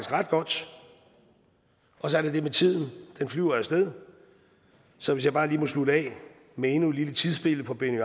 ret godt og så er der det med tiden den flyver af sted så hvis jeg bare lige må slutte af med endnu et lille tidsbillede fra benny